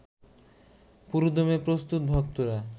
পুরোদমে প্রস্তুত ভক্তরা